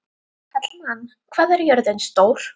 Hallmann, hvað er jörðin stór?